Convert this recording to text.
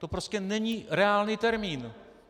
To prostě není reálný termín.